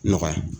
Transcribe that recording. Nɔgɔya